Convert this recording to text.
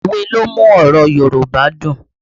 Òwe ni ó ń mú ọ̀rọ̀ Yorùbá dùn